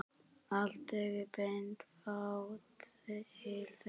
Alltént bendir fátt til þess.